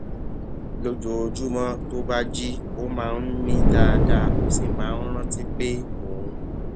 lójoojúmó tó bá jí ó máa ń mí dáadáa ó sì máa ń rántí pé òun